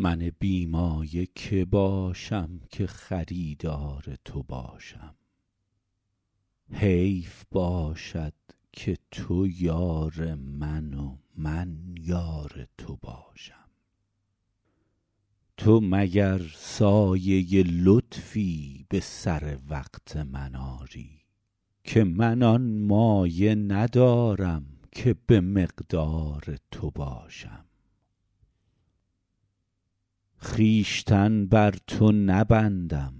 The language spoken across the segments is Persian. من بی مایه که باشم که خریدار تو باشم حیف باشد که تو یار من و من یار تو باشم تو مگر سایه لطفی به سر وقت من آری که من آن مایه ندارم که به مقدار تو باشم خویشتن بر تو نبندم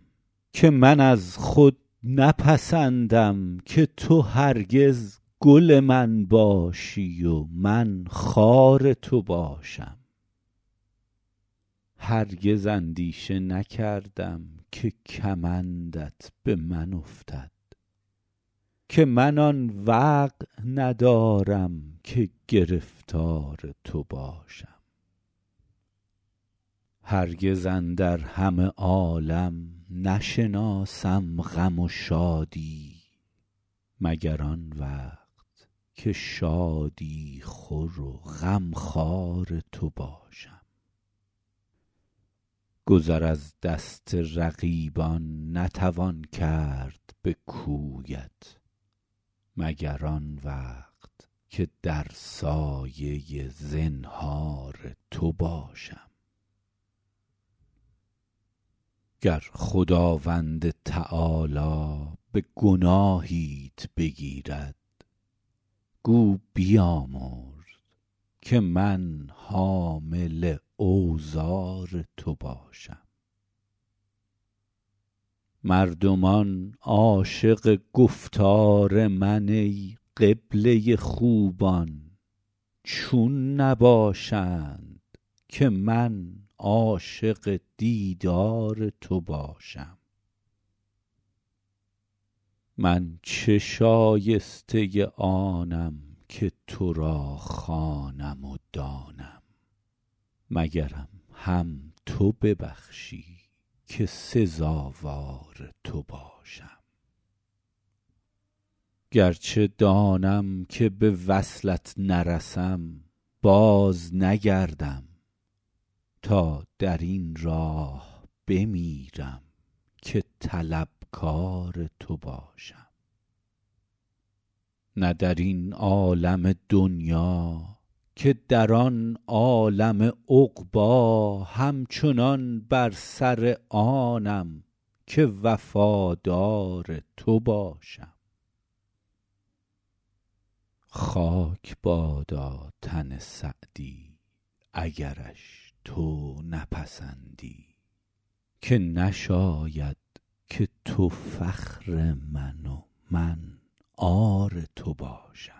که من از خود نپسندم که تو هرگز گل من باشی و من خار تو باشم هرگز اندیشه نکردم که کمندت به من افتد که من آن وقع ندارم که گرفتار تو باشم هرگز اندر همه عالم نشناسم غم و شادی مگر آن وقت که شادی خور و غمخوار تو باشم گذر از دست رقیبان نتوان کرد به کویت مگر آن وقت که در سایه زنهار تو باشم گر خداوند تعالی به گناهیت بگیرد گو بیامرز که من حامل اوزار تو باشم مردمان عاشق گفتار من ای قبله خوبان چون نباشند که من عاشق دیدار تو باشم من چه شایسته آنم که تو را خوانم و دانم مگرم هم تو ببخشی که سزاوار تو باشم گرچه دانم که به وصلت نرسم بازنگردم تا در این راه بمیرم که طلبکار تو باشم نه در این عالم دنیا که در آن عالم عقبی همچنان بر سر آنم که وفادار تو باشم خاک بادا تن سعدی اگرش تو نپسندی که نشاید که تو فخر من و من عار تو باشم